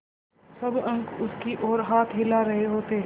सब अंक उसकी ओर हाथ हिला रहे होते